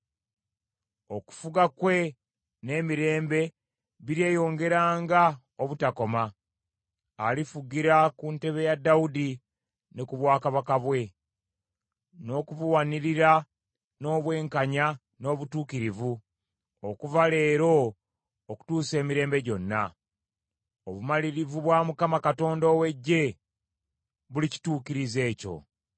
Okufuga kwe n’emirembe biryeyongeranga obutakoma. Alifugira ku ntebe ya Dawudi ne ku bwakabaka bwe, n’okubuwanirira n’obwenkanya n’obutuukirivu okuva leero okutuusa emirembe gyonna. Obumalirivu bwa Mukama Katonda ow’Eggye bulikituukiriza ekyo.